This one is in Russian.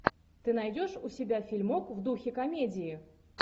ты найдешь у себя фильмок в духе комедии